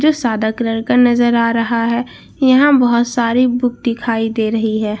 जो सादा कलर का नजर आ रहा है यहां बहुत सारी बुक दिखाई दे रही है।